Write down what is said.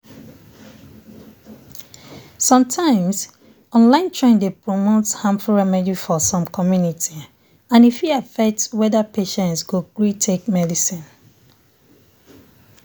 sometimes online trend dey promote harmful remedy for some community and e fit affect whether patient go gree take treatment.